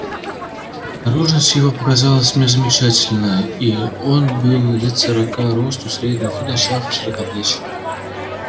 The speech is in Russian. наружность его показалась мне замечательна и он был лет сорока росту среднего худощав и широкоплеч